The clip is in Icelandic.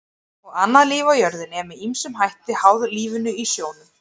Og annað líf á jörðinni er með ýmsum hætti háð lífinu í sjónum.